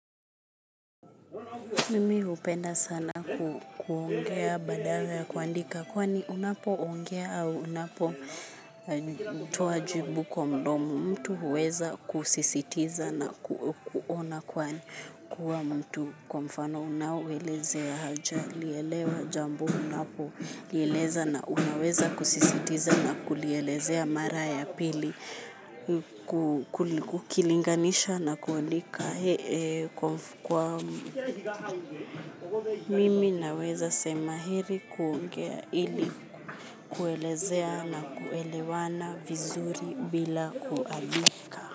Mimi hupenda sana kuongea badala ya kuandika kwani unapoongea au unapo toa jibu kwa mdomo mtu huweza kusisitiza na kuona kwani kuwa mtu kwa mfano unawaeleze ya haja lielewa jambo unapo lieleza na unaweza kusisitiza na kulielezea mara ya pili kukilinganisha na kulika hee kwa mimi naweza sema heri kuongea ili kuelezea na kuelewana vizuri bila kuandika.